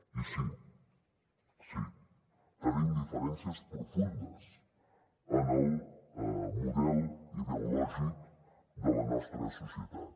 i sí sí tenim diferències profundes en el model ideològic de la nostra societat